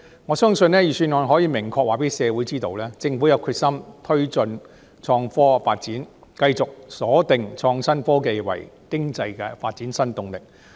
我相信，預算案可以明確讓社會知道，政府有決心推動創科發展，繼續鎖定創新科技為經濟發展的新動力。